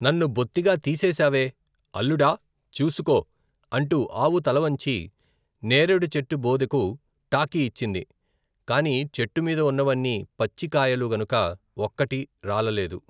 నన్ను బొత్తిగా తీసేశావే, అల్లుడా ! చూసుకో ! అంటూ ఆవు తలవంచి నేరేడు చెట్టుబోదెకు టాకీ ఇచ్చింది. కాని చెట్టు మీద ఉన్నవన్నీ పచ్చికాయలు గనుక ఒక్కటి రాలలేదు.